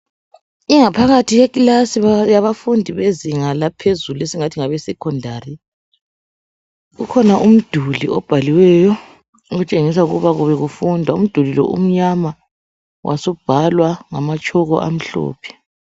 ingaphakathi yekilasi yabafundi bezinga laphezulu esingathi ngabe secondary kukhona umduli obhaliweyo okutshengisa ukuba bekufundwa umduli lo umnyama wasubhalwa ngama tshoko amhlophe